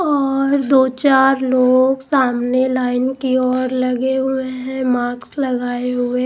और दो-चार लोग सामने लाइन की ओर लगे हुए हैं मास्क लगाया हुआ है।